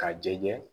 K'a jɛ